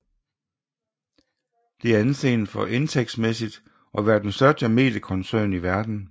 Det anses for indtægtsmæssigt at være den største mediekoncern i verdenen